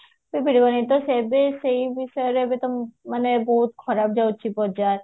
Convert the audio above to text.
ବିଷୟରେ ଏବେ ତମେ ମାନେ ବହୁତ ଖରାପ ରହୁଛି ବଜାର